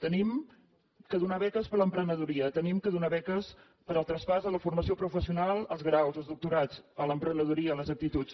hem de donar beques per a l’emprenedoria hem de donar beques per al traspàs de la formació professional als graus als doctorats a l’emprenedoria a les aptituds